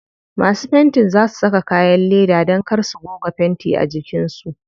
Masu fentin za su saka kayan leda dan kar su goga fenti a jikin su.